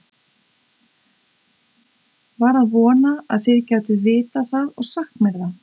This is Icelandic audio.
var að vona þið gætuð vitað það og sagt mér það